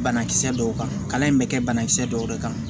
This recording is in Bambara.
Banakisɛ dɔw kan kalan in bɛ kɛ banakisɛ dɔw de kan